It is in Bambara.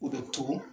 O bɛ to